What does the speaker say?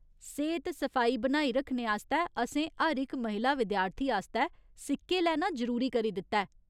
सेह्त सफाई बनाई रक्खने आस्तै असें हर इक महिला विद्यार्थी आस्तै सिक्के लैना जरूरी करी दित्ता ऐ।